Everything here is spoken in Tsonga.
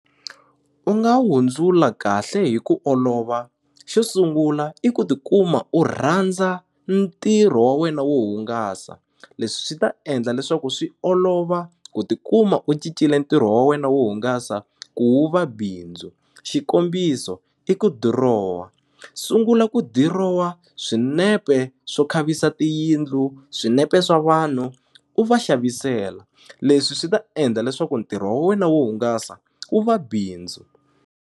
U nga hundzula kahle hi ku olova xo sungula i ku tikuma u rhandza ntirho wa wena wo hungasa leswi swi ta endla leswaku swi olova ku tikuma u cincile ntirho wa wena wo hungasa ku wu va bindzu xikombiso i ku dirowa sungula ku dirowa swinepe swo khavisa tiyindlu swinepe swa vanhu u va xavisela leswi swi ta endla leswaku ntirho wa wena wo hungasa wu va bindzu.